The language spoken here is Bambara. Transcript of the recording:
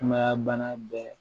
Sumaya bana bɛɛ